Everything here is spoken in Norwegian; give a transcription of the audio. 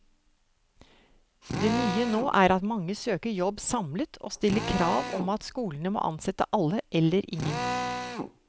Det nye nå er at mange søker jobb samlet, og stiller krav om at skolene må ansette alle eller ingen.